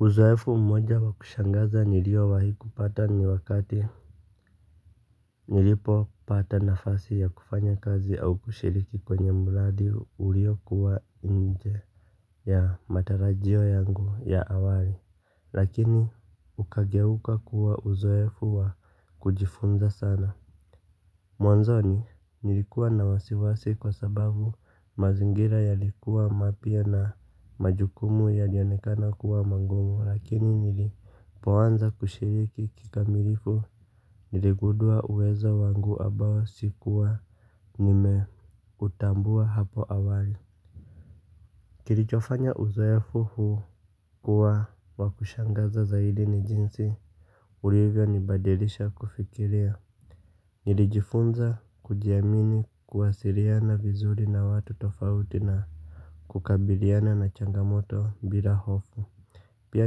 Uzoefu mmoja wa kushangaza niliowahi kupata ni wakati nilipopata nafasi ya kufanya kazi au kushiriki kwenye mradi ulio kuwa nje ya matarajio yangu ya awali. Lakini ukageuka kuwa uzoefu wa kujifunza sana. Mwanzoni nilikuwa na wasiwasi kwa sababu mazingira yalikuwa mapya na majukumu yalionekana kuwa mangumu lakini nilipoanza kushiriki kikamilifu niligudua uwezo wangu abao sikuwa nimeutambua hapo awali. Kilichofanya uzoefu huu kuwa wakushangaza za hili ni jinsi ulivyo nibadilisha kufikirea. Nilijifunza kujiamini kuwasiriana vizuri na watu tofauti na kukabiliana na changamoto bila hofu. Pia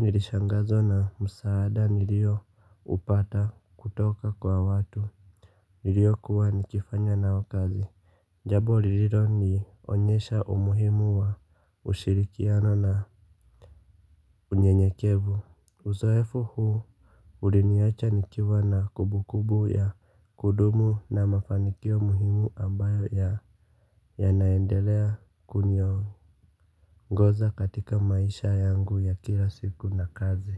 nilishangazwa na msaada nilioupata kutoka kwa watu niliokuwa nikifanya nao kazi. Jabo lililonionyesha umuhimu wa ushirikiano na unyenyekevu. Uzoefo huo uliniacha nikiwa na kubukubu ya kudumu na mafanikio muhimu ambayo ya yanaendelea kuniongoza katika maisha yangu ya kila siku na kazi.